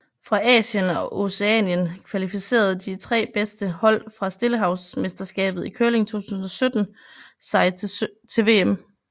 Fra Asien og Oceanien kvalificerede de tre bedste hold fra Stillehavsmesterskabet i curling 2017 sig til VM